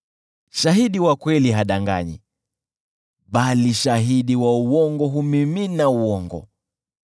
Shahidi mwaminifu hadanganyi, bali shahidi wa uongo humimina uongo.